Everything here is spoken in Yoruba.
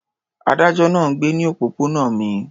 Adájọ́ náà ń gbé ní òpópónà mi.